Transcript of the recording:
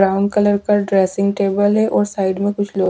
Brown colour का dressing table है और साइड में।